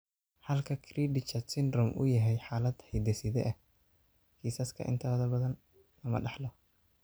Halka cri du chat syndrome uu yahay xaalad hidde-side ah, kiisaska intooda badan lama dhaxlo.